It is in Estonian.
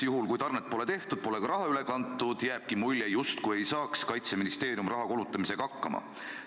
Juhul kui tarnet pole tehtud, pole ka raha üle kantud, ja jääbki mulje, justkui ei saaks Kaitseministeerium raha kulutamisega hakkama.